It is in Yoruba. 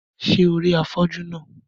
Ṣé o rí afọ́jú náà?